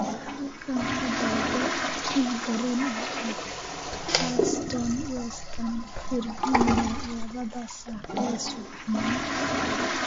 Halkan ka dalbo tigidh tareen oo aad Charleston west Virginia labada saac ee subaxnimo